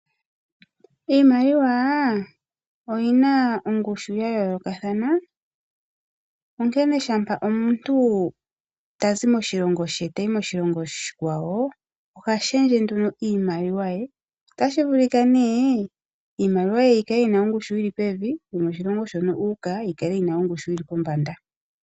Iimaliwa oyina ongushu ya yooloka thana, onkene shampa omuntu ta zi moshilongo she, ta yi moshilongo oshikwa wo, oha shendje nduno iimaliwa ye. Otashi vulika nee iimaliwa yi kale yina ongushu yili pevi, no moshilongo shono uuka yi kale yina ongushu yili po mbanda.